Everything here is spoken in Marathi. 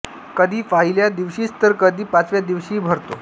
कधी पहिल्या दिवशीच तर कधी पाचव्या दिवशीही भरतो